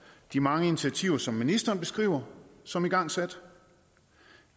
de mange initiativer som ministeren beskriver som igangsat